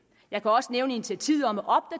jeg kan også nævne initiativet om om